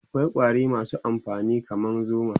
akwai ƙwari masu amfani kaman zuma